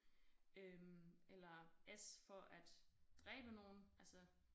Øh eller s for at dræbe nogen altså